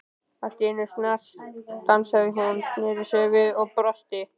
Allt í einu snarstansaði hún, snéri sér við og brosti.